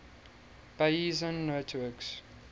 bayesian networks